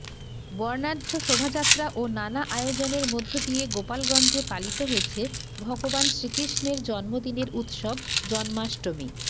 বর্ণাঢ্য শোভাযাত্রা ও নানা আয়োজনের মধ্য দিয়ে গোপালগঞ্জে পালিত হয়েছে ভগবান শ্রীকৃষ্ণের জন্মদিনের উৎসব জন্মাষ্টমী